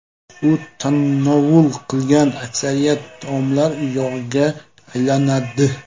U tanovul qilgan aksariyat taomlar yog‘ga aylanadi.